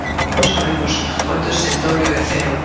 No sabemos cuánto es el doble de cero.